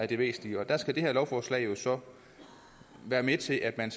det væsentlige der skal det her lovforslag så være med til at man